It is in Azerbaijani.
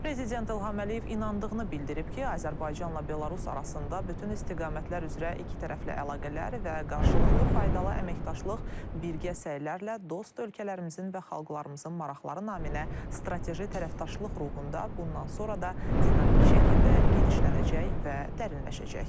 Prezident İlham Əliyev inandığını bildirib ki, Azərbaycanla Belarus arasında bütün istiqamətlər üzrə ikitərəfli əlaqələr və qarşılıqlı faydalı əməkdaşlıq birgə səylərlə dost ölkələrimizin və xalqlarımızın maraqları naminə strateji tərəfdaşlıq ruhunda bundan sonra da dinamik şəkildə genişlənəcək və dərinləşəcək.